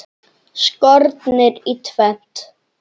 Skornir í tvennt.